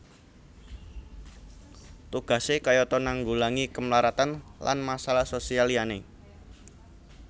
Tugasé kayata nanggulangi kemlaratan lan masalah sosial liyané